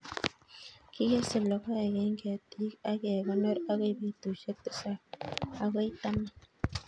Kigesei logoek eng' ketik ak kekonor akoi petushek tisap agoi taman